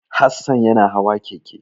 Hassan yana hawa keke.